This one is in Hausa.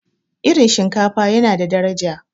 irin shinkafa yana da daraja